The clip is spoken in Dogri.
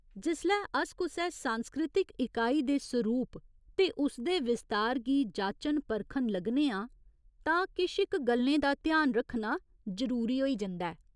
जिसलै अस कुसै सांस्कृतिक इकाई दे सरूप ते उसदे विस्तार गी जाचन परखन लगने आं तां किश इक गल्लें दा ध्यान रक्खना जरूरी होई जंदा ऐ।